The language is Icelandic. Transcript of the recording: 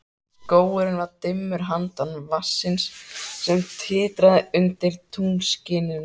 Skógurinn var dimmur handan vatnsins, sem titraði undir tunglskininu.